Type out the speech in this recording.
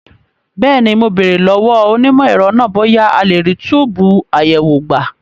Bẹ́ẹ̀ni, mo béèrè lọ́wọ́ onímọ̀ ẹ̀rọ náà bóyá a lè rí túbùù àyẹ̀wò gbà.